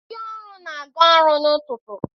Ndị ọrụ na-aga ọrụ n'ụtụtụ.